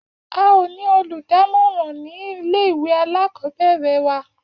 A ò ní olùdámòràn nílé ìwé alákòóbèrè wa